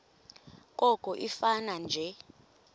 koko ifane nje